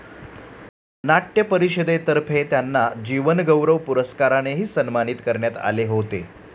नाट्य परिषदेतर्फे त्यांना जीवनगौरव पुरस्कारानेही सन्मानित करण्यात आले होते.